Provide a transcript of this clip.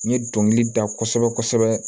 N ye dɔnkili da kosɛbɛ kosɛbɛ